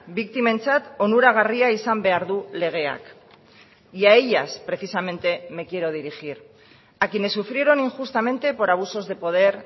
biktimentzat onuragarria izan behar du legeak y a ellas precisamente me quiero dirigir a quienes sufrieron injustamente por abusos de poder